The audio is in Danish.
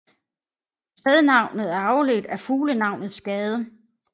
Stednavnet er afledt af fuglenavnet skade